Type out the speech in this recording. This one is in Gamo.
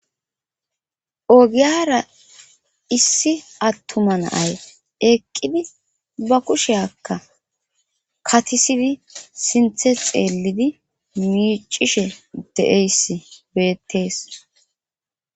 Ogiyara issi attuma naay eqqidi ba kusheakka katisidi sinthe xeellidi miicishe de7eyss beettees